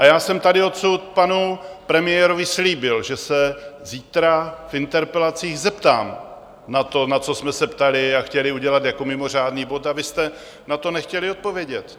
A já jsem tady odsud panu premiérovi slíbil, že se zítra v interpelacích zeptám na to, na co jsme se ptali a chtěli udělat jako mimořádný bod, a vy jste na to nechtěli odpovědět.